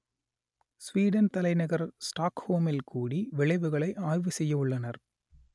Sweden தலைநகர் ஸ்டாக்ஹோமில் கூடி விளைவுகளை ஆய்வு செய்யவுள்ளனர்